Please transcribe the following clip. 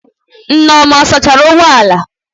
Nneoma ọ sachara ụgbọ ala?